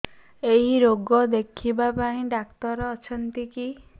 ଏଇ ରୋଗ ଦେଖିବା ପାଇଁ ଡ଼ାକ୍ତର ଅଛନ୍ତି କି